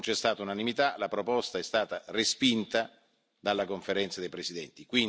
Non c'è stata unanimità, la proposta è stata respinta dalla Conferenza dei presidenti.